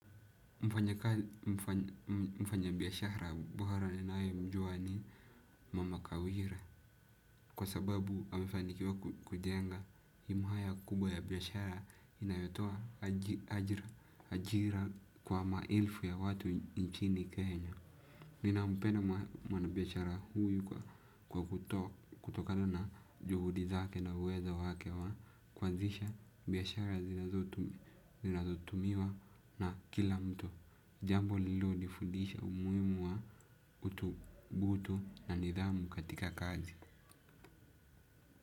Mfanyabiashara bora ninayemjua ni mama kawira. Kwa sababu amefanikiwa kujenga himu haya kubwa ya biashara inayotoa ajira kwa maelfu ya watu nchini kenya. Ninampenda mwanabiashara huyu kwa kutokana na juhudi zake na uwezo wake wa kuanzisha biashara zinazotumiwa na kila mtu. Jambo lililonifudisha umuhimu wa utubutu na nidhamu katika kazi.